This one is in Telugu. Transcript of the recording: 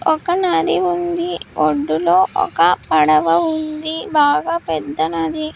ఒక నది ఉంది ఒడ్డులో ఒక పడవ ఉంది బాగా పెద్ద నది.